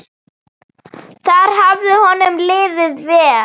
Þar hafði honum liðið vel.